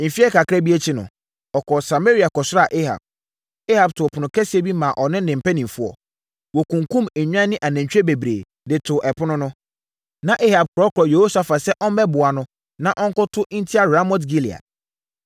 Mfeɛ kakra bi akyi no, ɔkɔɔ Samaria kɔsraa Ahab. Ahab too ɛpono kɛseɛ bi maa ɔne ne mpanimfoɔ. Wɔkunkumm nnwan ne anantwie bebree, de too ɛpono no. Na Ahab korɔkorɔɔ Yehosafat sɛ ɔmmɛboa no, na ɔnkɔko ntia Ramot-Gilead.